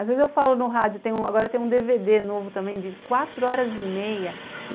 Às vezes eu falo no rádio, agora tem um dê vê dê novo também de quatro horas e meia.